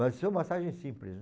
Mas massagem simples, né?